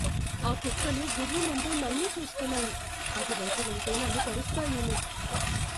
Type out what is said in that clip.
ఆ కుక్కలు గుర్రుమంటూ నన్నే చూస్తున్నాయి. అటు వైపు వెళ్తే నన్ను కరుస్తాయేమో.